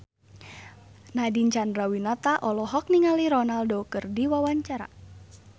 Nadine Chandrawinata olohok ningali Ronaldo keur diwawancara